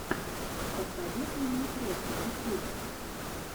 посоветуй мне треки ютьюб